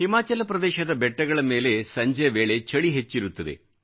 ಹಿಮಾಚಲ ಪ್ರದೇಶದ ಬೆಟ್ಟಗಳ ಮೇಲೆ ಸಂಜೆ ವೇಳೆ ಚಳಿ ಹೆಚ್ಚಿರುತ್ತದೆ